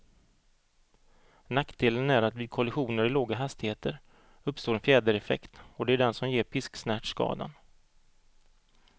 Nackdelen är att vid kollisioner i låga hastigheter uppstår en fjädereffekt, och det är den som ger pisksnärtskadan.